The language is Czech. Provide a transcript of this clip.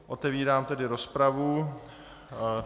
Otevírám tedy rozpravu.